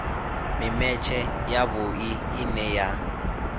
mimetshe ya vhui ine ya